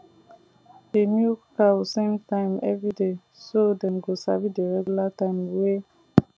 dey milk cow same time every day so dem go sabi the regular time way